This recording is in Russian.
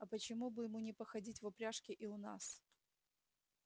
а почему бы ему не походить в упряжке и у нас